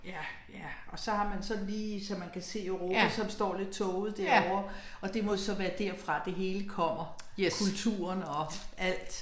Ja, ja. Yes